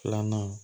Filanan